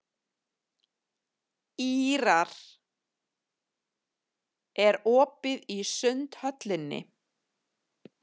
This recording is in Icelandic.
Ýrar, er opið í Sundhöllinni?